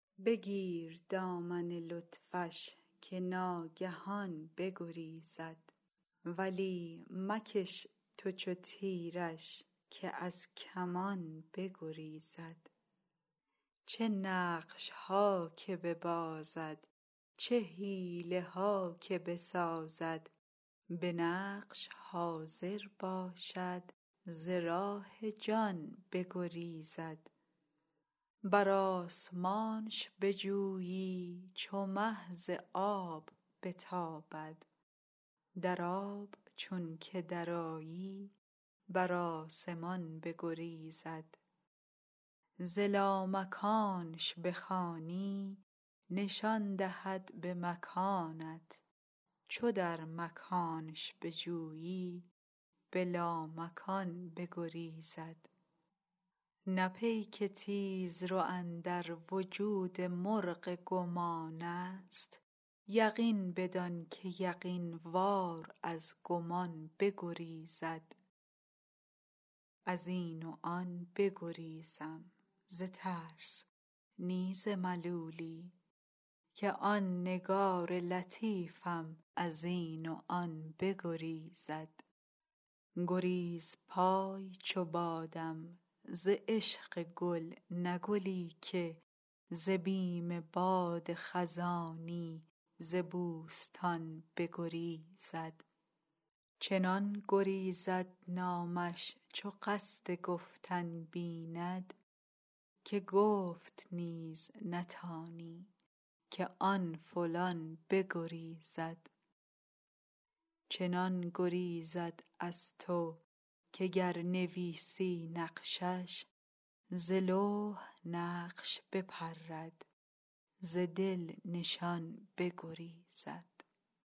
بگیر دامن لطفش که ناگهان بگریزد ولی مکش تو چو تیرش که از کمان بگریزد چه نقش ها که ببازد چه حیله ها که بسازد به نقش حاضر باشد ز راه جان بگریزد بر آسمانش بجویی چو مه ز آب بتابد در آب چونک درآیی بر آسمان بگریزد ز لامکانش بخوانی نشان دهد به مکانت چو در مکانش بجویی به لامکان بگریزد نه پیک تیزرو اندر وجود مرغ گمانست یقین بدان که یقین وار از گمان بگریزد از این و آن بگریزم ز ترس نی ز ملولی که آن نگار لطیفم از این و آن بگریزد گریزپای چو بادم ز عشق گل نه گلی که ز بیم باد خزانی ز بوستان بگریزد چنان گریزد نامش چو قصد گفتن بیند که گفت نیز نتانی که آن فلان بگریزد چنان گریزد از تو که گر نویسی نقشش ز لوح نقش بپرد ز دل نشان بگریزد